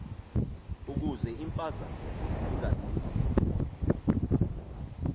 ukuze iimpazamo zingabikho